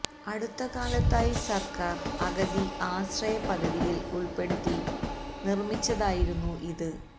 അടുത്ത കാലത്തായി സർക്കാർ അഗതി ആശ്രയ പദ്ധതിയിൽ ഉൾപെടുത്തി നിർമ്മിച്ചതായിരുന്നു ഇത്